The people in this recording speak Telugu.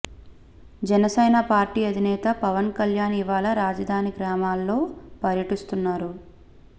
జనసేన పార్టీ అధినేత పవన్ కళ్యాణ్ ఇవాళ రాజధాని గ్రామాల్లో పర్యటిస్తున్నారు